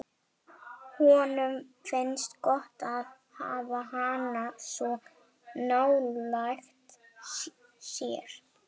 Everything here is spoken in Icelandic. Bjarnlaugur, stilltu niðurteljara á fimmtíu og fjórar mínútur.